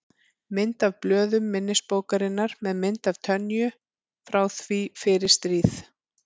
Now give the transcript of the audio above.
Mynd af blöðum minnisbókarinnar með mynd af Tönyu frá því fyrir stríð.